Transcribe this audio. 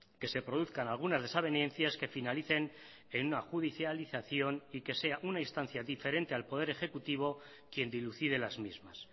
que se produzcan algunas desavenencias que finalicen en una judicialización y que sea una instancia diferente al poder ejecutivo quien dilucide las mismas